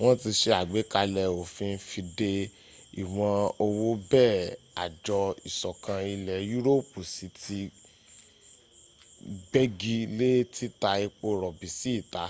wọn ti se àgbékalẹ̀ òfin fi de ìwọ̀n owó bẹ́ẹ̀ àjọ ìsọ̀kan ilẹ̀ yúròpù sì ti gbegi lé títa epo rọ̀bì sí ìta